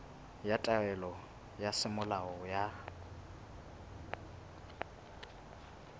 ya taelo ya semolao ya